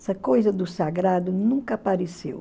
Essa coisa do sagrado nunca apareceu.